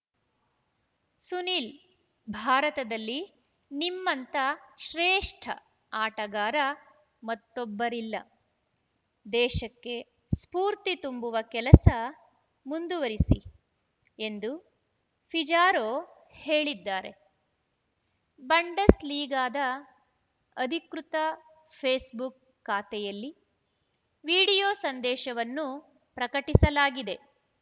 ಸುನಿಲ್‌ ಭಾರತದಲ್ಲಿ ನಿಮ್ಮಂಥ ಶ್ರೇಷ್ಠ ಆಟಗಾರ ಮತ್ತೊಬ್ಬರಿಲ್ಲ ದೇಶಕ್ಕೆ ಸ್ಫೂರ್ತಿ ತುಂಬುವ ಕೆಲಸ ಮುಂದುವರಿಸಿ ಎಂದು ಪಿಜಾರೋ ಹೇಳಿದ್ದಾರೆ ಬಂಡಸ್‌ಲೀಗಾದ ಅಧಿಕೃತ ಫೇಸ್‌ಬುಕ್‌ ಖಾತೆಯಲ್ಲಿ ವಿಡಿಯೋ ಸಂದೇಶವನ್ನು ಪ್ರಕಟಿಸಲಾಗಿದೆ